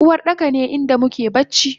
Uwardaka ne inda muke bacci